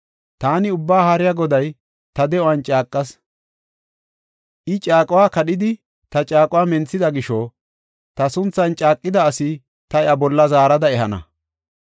“Taani Ubbaa Haariya Goday ta de7uwan caaqas. I caaquwa kadhidi ta caaquwa menthida gisho ta sunthan caaqidas ta iya bolla zaarada ehana.